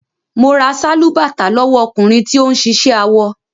Mo ra sálúbàtà lówọ́ ọkùnrin tí ó ń ṣiṣẹ́ awọ.